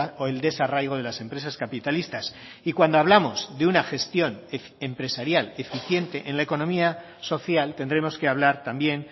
o el desarraigo de las empresas capitalistas y cuando hablamos de una gestión empresarial eficiente en la economía social tendremos que hablar también